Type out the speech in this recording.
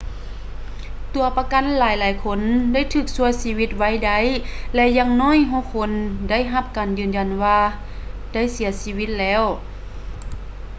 ຕົວປະກັນຫລາຍໆຄົນໄດ້ຖືກຊ່ວຍຊີວິດໄວ້ໄດ້ ແລະ ຢ່າງໜ້ອຍຫົກຄົນໄດ້ຮັບການຢືນຢັນວ່າໄດ້ເສຍຊີວິດແລ້ວ